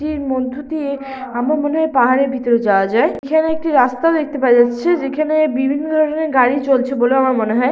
মধ্য দিয়ে আমার মনে হয় পাহাড়ের ভিতর যাওয়া যায় এখানে একটি রাস্তা দেখতে পাওয়া যাচ্ছে যেখানে বিভিন্ন ধরনের গাড়ি চলছে বলে আমার মনে হয়।